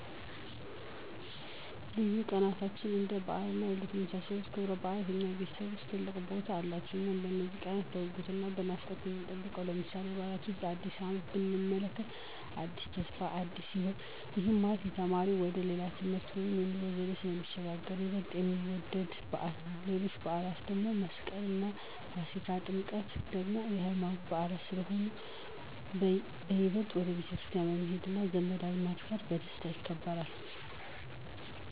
ልዩ ቀናትን እንደ በዓላት እና ልደት የመሳሰሉት ክብረበዓላት በእኛ ቤተሰብ ውስጥ ትልቅ ቦታ አላቸው። እኛም እነዚህን ቀናት በጉጉት እና በናፍቆት ነው የምንጠብቃቸው። ለምሳሌ፦ ከበዓላት ዉስጥ አዲስ አመትን ብንመለከት አዲስ ተስፋ እና አዲስ ህይወትን፤ ይሄም ማለት ለተማሪው ወደ ሌላ የትምህርት ወይም የኑሮ ደረጃ ስለሚሸጋገር በይበልጥ የሚወደድ በዓል ነው። ሌሎችም በዓላት አንደ፦ መስቀል፣ ገና፣ ፋሲካ እና ጥምቀት ደግሞ የሃይማኖታዊ በዓላት ስለሆኑ በይበልጥ ወደ ቤተክርስቲያን በመሄድ እና ዘመድ አዝማድ ጋር በደስታ ይከበራል።